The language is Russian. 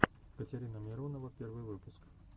катерина миронова первый выпуск